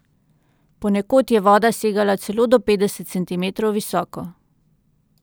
Ponekod je voda segala celo do petdeset centimetrov visoko.